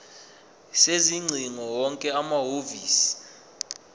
sezingcingo wonke amahhovisi